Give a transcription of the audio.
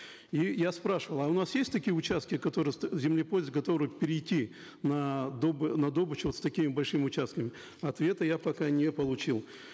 и я спрашивал а у нас есть такие участки которые землепользователи готовые перейти на на добычу с такими большими участками ответа я пока не получил